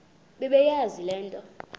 bebeyazi le nto